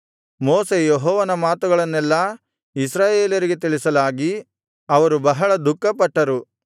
ಮೋಶೆ ಯೆಹೋವನ ಮಾತುಗಳನ್ನೆಲ್ಲಾ ಇಸ್ರಾಯೇಲರಿಗೆ ತಿಳಿಸಲಾಗಿ ಅವರು ಬಹಳ ದುಃಖಪಟ್ಟರು